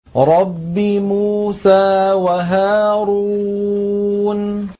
رَبِّ مُوسَىٰ وَهَارُونَ